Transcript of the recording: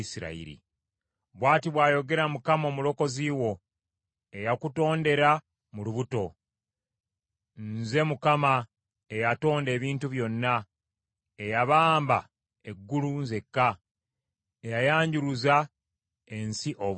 “Bw’ati bw’ayogera Mukama Omulokozi wo, eyakutondera mu lubuto. “Nze Mukama , eyatonda ebintu byonna, eyabamba eggulu nzekka, eyayanjuluza ensi obwomu,